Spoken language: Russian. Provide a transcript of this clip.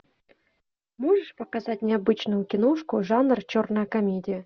можешь показать необычную киношку жанр черная комедия